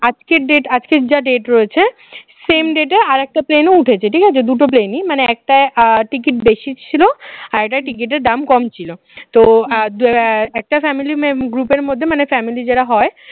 আজকের date আজকের যা date রয়েছে same date এ আরেকটা plane ও উঠেছে ঠিক আছে দুটো plane ই একটা ticket বেশি ছিল আরেকটা ticket এর দাম কম ছিল তো একটা family member group এর মধ্যে মানে family যারা হয়